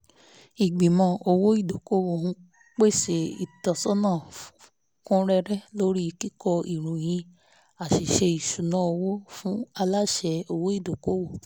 ìgbìmọ̀ òwò ìdókòwò ń pèsè ìtọ́sọ́nà kún rẹ́rẹ́ lórí kíkọ ìròyìn àṣìṣe ìṣúnná owó fún aláṣẹ òwò ìdókòwò